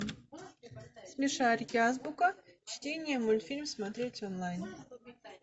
смешарики азбука чтение мультфильм смотреть онлайн